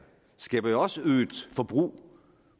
skaber jo også øget forbrug